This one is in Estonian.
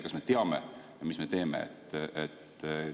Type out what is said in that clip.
Kas me teame, mis me teeme?